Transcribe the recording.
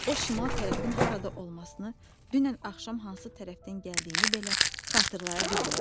O, şimal tərəfin harada olmasını, dünən axşam hansı tərəfdən gəldiyini belə xatırlaya bilmədi.